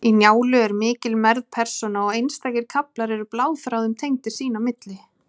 Í Njálu er mikil mergð persóna, og einstakir kaflar eru bláþráðum tengdir sín á milli.